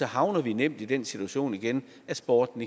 havner vi nemt i den situation igen at sporten